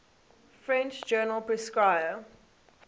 french journal prescrire